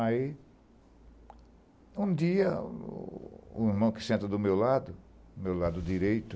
Aí, um dia, o irmão que senta do meu lado, do meu lado direito,